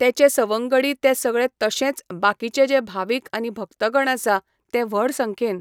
तेंचे सवंगडी ते सगळे तशेंच बाकीचे जे भावीक आनी भक्तगण आसा ते व्हड संख्येन